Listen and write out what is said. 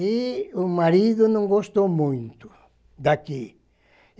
E o marido não gostou muito daqui.